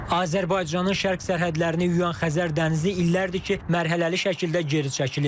Azərbaycanın şərq sərhədlərini yuyan Xəzər dənizi illərdir ki, mərhələli şəkildə geri çəkilir.